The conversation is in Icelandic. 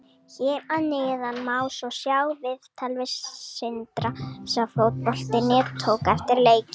Hér að neðan má svo sjá viðtal við Sindra sem Fótbolti.net tók eftir leikinn.